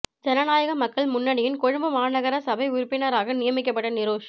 ஜனநாயக மக்கள் முன்னணியின் கொழும்பு மாநகர சபை உறுப்பினராக நியமிக்கப்பட்ட நிரோஷ்